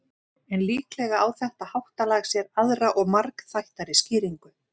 en líklega á þetta háttalag sér aðra og margþættari skýringu